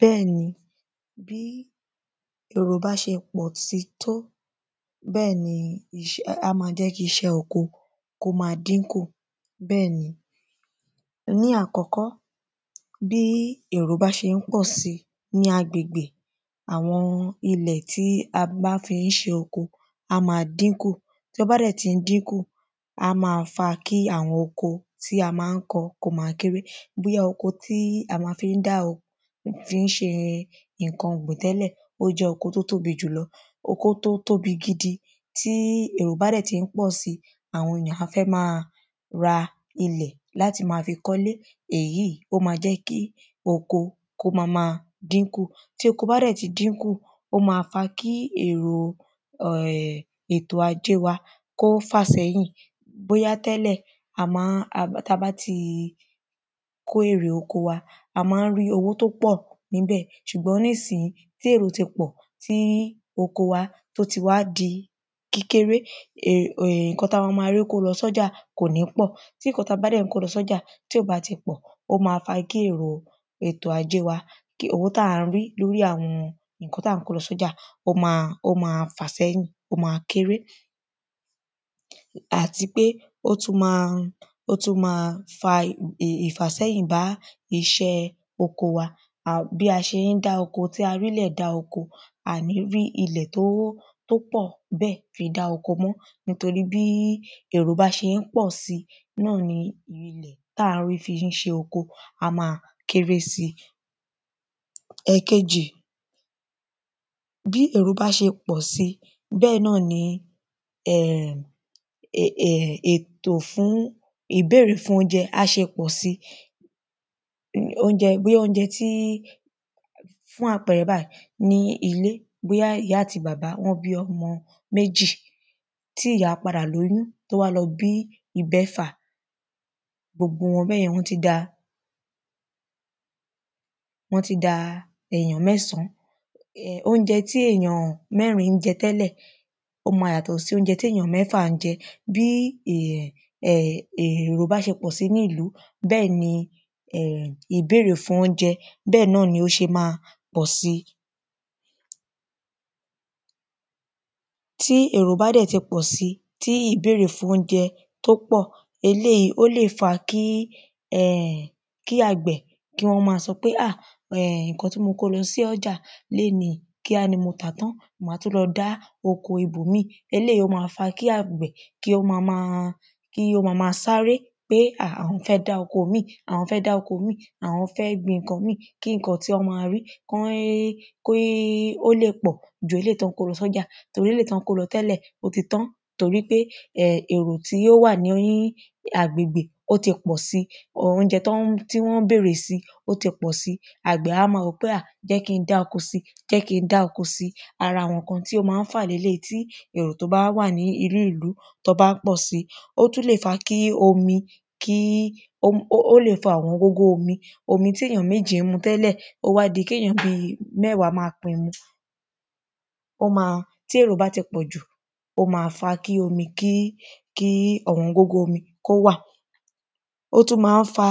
Bẹ́ẹ̀ ni bí èrò bá ṣe pọ̀ sí tó bẹ́ẹ̀ ni á má jẹ́ kí iṣẹ́ oko kó má dínkù bẹ́ẹ̀ ni Ní àkọ́kọ́ bí èrò bá ṣé ń pọ̀ sí ní agbègbè àwọn ilẹ̀ tí a bá fí ń ṣe oko á má dínkù tí ó bá dẹ̀ tí ń dínkù á má fa kí àwọn oko tí a má ń kọ kí ó má kéré bóyá oko tí à má fí ń dá fí ń ṣe nǹkan ọ̀gbìn tẹ́lẹ̀ ó jẹ́ oko tó tóbi jù lọ oko tó tóbi gidi tí èrò bá dẹ̀ tí ń pọ̀ sí àwọn èyàn á fẹ́ má ra ilẹ̀ láti má fi kọ́lé èyí ó má má jẹ́ kí oko kó má dínkù tí oko bá dẹ̀ ti dínkè ó má fa kí èrò um ètò ajé wa kí ó fà sẹ́yìn bóyá tẹ́lẹ̀ a má ń tá bá ti kó èrè oko wa a má ń rí owó tó pọ̀ níbẹ̀ àmọ́ nísìyìí tí èrò ti pọ̀ tí oko wa tó ti wá di kékeré nǹkan tá má má rí kó lọ sọ́jà kò ní pọ̀ tí nǹkan tá bá dẹ̀ ti kó lọ sọ́jà tí ó bá ti pọ̀ ó má fa kí èrè ètò ajé wa owó tá ń rí lórí àwọn nǹkan tí à ń kó lọ sọ́jà ó má ó má fà sẹ́yìn ó má kéré. àti pé ó tún má ó tún má fa ìfàsẹ́yìn bá iṣẹ́ oko wa bí a ṣe ń dá oko tí a rílẹ̀ dá oko a ní rí ilẹ̀ tó tó pọ̀ bẹ́ẹ̀ fi dá oko mọ́ nítorí bí èrò bá ṣe ń pọ̀ si náà ni tá ń rí fí ṣe oko á má kéré sí. Ẹ̀kejì bí èrò bá ṣe pọ̀ si bẹ́ẹ̀ náà ni ètò fún ìbéèrè fún óúnjẹ á ṣe pọ̀ sí óúnjẹ bóyá óúnjẹ tí fún àpẹrẹ báyìí ní ilé bóyá ìyá àti bàbá wọ́n bí ọmọ méjì tí ìyá padà lóyún tó wá lọ bí ìbẹfà gbogbo wọn bẹ́yẹnn wọ́n ti da wọ́n ti da èyàn mẹ́sàn án óúnjẹ̣ tí èyàn mẹ́rin ń jẹ tẹ́lẹ̀ ó má yàtọ̀ sí óúnjẹ tí èyàn mẹ́fà ń jẹ bí um èrò bá ṣe pọ̀ sí nílùú bẹ́ẹ̀ ni ìbéèrè fún óúnjẹ bẹ́ẹ̀ náà ni ó ṣe má pọ̀ sí. Tí èrò bá dẹ̀ ti pọ̀ sí tí ìbéèrè fún óúnjẹ tó pọ̀ eléèyí ó lè fa kí kí àgbẹ̀ kí wọ́n má sọ pé ah nǹkan tí mo kó lọ sí ọjà léèní o kíá ni mo tàá tán màá tún lọ dá oko ibòmíì eléèyí ó má fa kí àgbẹ̀ kí ó má má sáré pé a àwọn fẹ́ dá oko ìmí àwọn fẹ́ gbin nǹkan mí kí nǹkan tí wọ́n má rí kí kí ó lè pọ̀ ju eléèyí tí wọ́n kó lọ sọ́jà eléèyí tán kó lọ tẹ́lẹ̀ ó ti tán nítorípé èrò tí ó wà ní agbègbè ó ti pọ̀ sí or óúnjẹ tí wọ́n ń bèrè sí ó ti pọ̀ sí àgbẹ̀ á má wòó pé à jẹ́ kí n dá oko sí jẹ́ kí ń dá oko sí ara àwọn nǹkan tí ó má ń fà leléèyí tí èrò tó bá wà ní inú ìlú tó bá pọ̀ sí ó tún lè fa kí omi kí ó lè fa ọ̀wọ́n gógó omi omi tí èyàn méjì ń mu tẹ́lẹ̀ ó wá di kéyàn mẹ́wàá má pín mu ó má tí èrò bá ti pọ̀jù ó má fa kí omi kí kí ọ̀wọ́n gógó omi kó wà ó tún má ń fa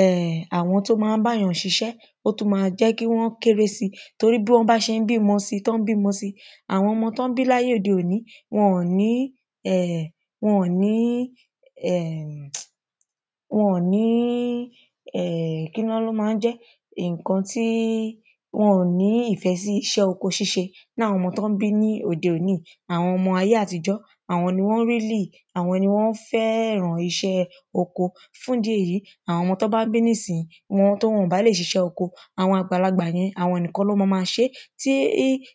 um àwọn tó má ń báyàn ṣiṣẹ́ ó tún má jẹ́ kí ó kéré sí torí bí wọ́n bá ṣe ń bímọ sí tán ń bímọ sí àwọn ọmọ tán ń bí láyé òde òní wọn ní um wọ́n ní um wọn ní um kí wọ́n ló má ń jẹ́ wọn ní nǹkan tí wọn ní ìfẹ́ sí iṣẹ́ oko ṣíṣe ní àwọn ọmọ tí wọ́n ń bí ní ayé òde òní yìí àwọn ọmọ ayé àtijọ́ àwọn ni wọ́n really àwọn ni wọ́n fẹ́ràn iṣẹ́ oko fúndìí èyí àwọn ọmọ tán bá ń bí nísìyìí tí wọn bá lè ṣiṣẹ́ oko àwọn àgbàlagbà yẹn àwọn nìkan ni wọ́n má ṣé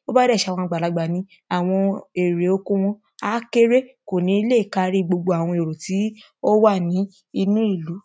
tó bá dẹ̀ ṣe àwọn àgbàlagbà ni àwọn èrè oko wọn á kéré kò ní lè kárí gbogbo àwọn èrò tí ó wà ní inú ìlú.